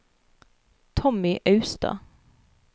Tommy Austad